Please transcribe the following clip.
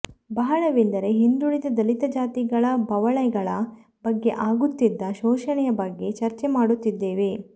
ಬಹಳವೆಂದರೆ ಹಿಂದುಳಿದ ದಲಿತ ಜಾತಿಗಳ ಬವಣೆಗಳ ಬಗ್ಗೆ ಆಗುತ್ತಿದ್ದ ಶೋಷಣೆಯ ಬಗ್ಗೆ ಚರ್ಚೆಮಾಡುತ್ತಿದ್ದೆವು